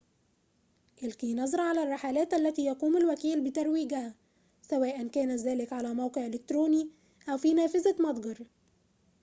ألقِ نظرة على الرحلات التي يقوم الوكيل بترويجها سواءً كان ذلك على موقع إلكتروني أو في نافذة متجر